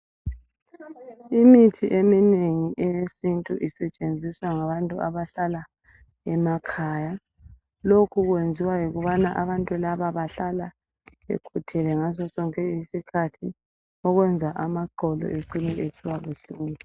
Imithi eminengi eyesithu isetshenziswa ngabantu abahlala emakhaya. lokhu kuyenziwa yikubana abantu laba bahlala bekhuthele ngaso sonke isikhathi okwenza amaqolo ecine esiba buhlungu